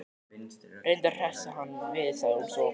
Reyndu að hressa hann við sagði hún svo.